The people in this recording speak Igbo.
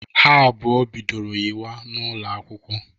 Ha abụọ bidoro yịwa n'ụlọakwụkwọ.